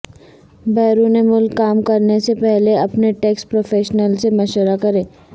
بیرون ملک کام کرنے سے پہلے اپنے ٹیکس پروفیشنل سے مشورہ کریں